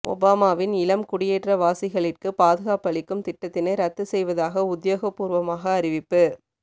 ஓபாமாவின் இளம் குடியேற்றவாசிகளிற்கு பாதுகாப்பளிக்கும் திட்டத்தினை ரத்து செய்வதாக உத்தியோகபூர்வமாக அறிவிப்பு